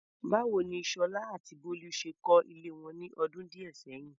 Báwo ni Sola àti Bolu ṣe kọ́ ilé wọn ní ọdún díẹ̀ sẹ́yìn?